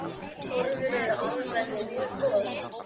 Horfur eru almennt mjög góðar.